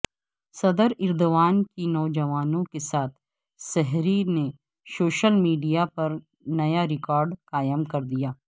صدر ایردوان کی نوجوانوں کے ساتھ سحری نے سوشل میڈیا پر نیا ریکارڈ قائم کردیا